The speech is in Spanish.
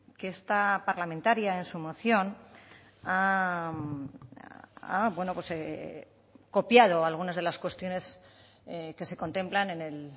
que esta parlamentaria en su moción ha copiado algunas de las cuestiones que se contemplan en el